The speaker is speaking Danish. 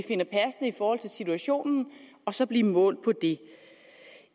forhold til situationen og så blive målt på det